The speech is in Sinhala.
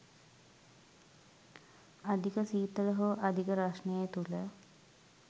අධික ශීතල හෝ අධික රස්නය තුළ